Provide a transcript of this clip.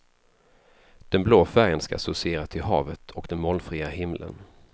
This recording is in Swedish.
Den blå färgen ska associera till havet och den molnfria himlen.